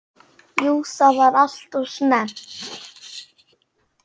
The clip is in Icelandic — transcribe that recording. Jú það var alltof snemmt.